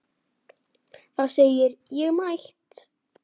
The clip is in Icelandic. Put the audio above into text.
Það segir: Ég er mætt!